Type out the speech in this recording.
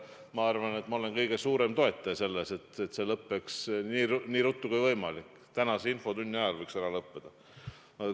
Ma arvan, et ma olen kõige suurem toetaja sellele, et see lõpeks nii ruttu kui võimalik, tänase infotunni ajal võiks ära lõppeda.